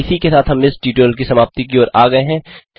इसी के साथ हम इस ट्यूटोरियल की समाप्ति की ओर आ गये हैं